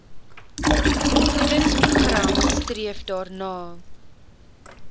voedingsprogram streef daarna